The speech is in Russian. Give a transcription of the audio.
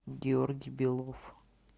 георгий белов